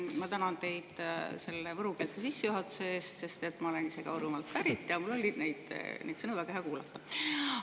Ma tänan teid selle võrukeelse sissejuhatuse eest, sest ma olen ise Võrumaalt pärit ja mul oli neid sõnu väga hea kuulata.